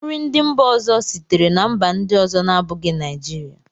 nri ndị mba ọzọ sitere na mba ndị ọzọ na-abụghị Naijiria